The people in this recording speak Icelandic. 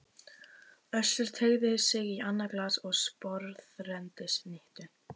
Össur teygði sig í annað glas og sporðrenndi snittu.